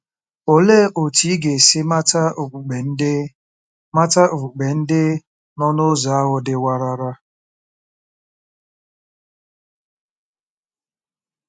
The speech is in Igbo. Olee otú ị ga-esi mata okpukpe ndị mata okpukpe ndị nọ n'ụzọ ahụ dị warara?